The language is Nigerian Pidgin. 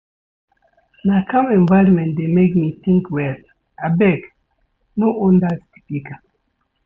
Na calm environment dey make me think well abeg no on dat speaker.